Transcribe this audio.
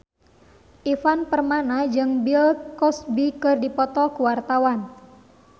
Ivan Permana jeung Bill Cosby keur dipoto ku wartawan